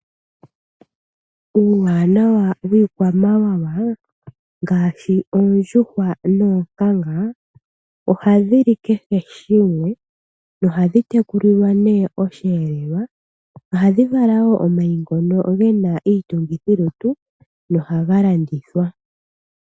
Uuwanawa wiikwamawawa ngaashi oondjuhwa noonkanga oha dhi li kehe shimwe noha dhi tekulilwa nee osheelelwa. Ohadhi vala wo omayi ngono ge na iitungithilutu no ha ga landithwa.